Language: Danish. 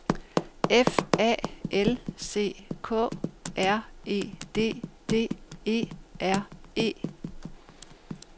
F A L C K R E D D E R E